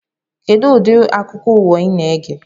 Kedụ udiri akụkọ ụwa ị na-ege